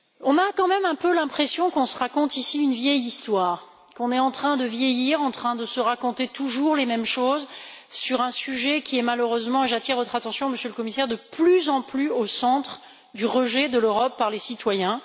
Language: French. J'ai quand même un peu l'impression qu'on se raconte ici une vieille histoire, qu'on est en train de vieillir, en train de se raconter toujours les mêmes choses sur un sujet qui est malheureusement et j'attire votre attention, Monsieur le Commissaire, sur cette réalité de plus en plus au centre du rejet de l'Europe par les citoyens.